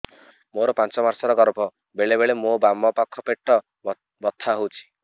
ମୋର ପାଞ୍ଚ ମାସ ର ଗର୍ଭ ବେଳେ ବେଳେ ମୋ ବାମ ପାଖ ପେଟ ବଥା ହଉଛି